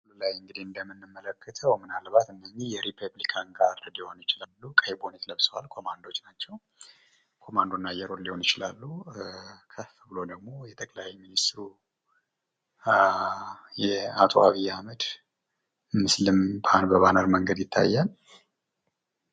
ከላይ እንግዲህ እንደምንመለከተው ምናልባት እነዚህ የሪፐብሊካን ጋርድ ሊሆኑ ይቻላሉ። ቀይ ቦኔት ለብሰዋል። ኮማንዶዎች ናቸው። ኮማንዶ እና አየር ወለድ ናቸው። ከፍ ብሎ ደግሞ የጠቅላይ ሚኒስቲሩ አቶ አብይ አህመድ ምስልም በባነር መንገድ ይታያል።